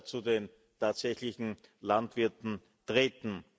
zu den tatsächlichen Landwirten treten.